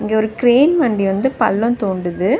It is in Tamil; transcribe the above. இது ஒரு கிரேன் வண்டி வந்து பல்லோ தோண்டுது.